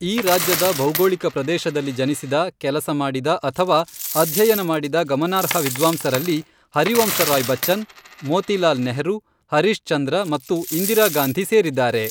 ಈ ರಾಜ್ಯದ ಭೌಗೋಳಿಕ ಪ್ರದೇಶದಲ್ಲಿ ಜನಿಸಿದ, ಕೆಲಸ ಮಾಡಿದ ಅಥವಾ ಅಧ್ಯಯನ ಮಾಡಿದ ಗಮನಾರ್ಹ ವಿದ್ವಾಂಸರಲ್ಲಿ ಹರಿವಂಶ ರಾಯ್ ಬಚ್ಚನ್, ಮೋತಿಲಾಲ್ ನೆಹರೂ, ಹರೀಶ್ ಚಂದ್ರ ಮತ್ತು ಇಂದಿರಾ ಗಾಂಧಿ ಸೇರಿದ್ದಾರೆ.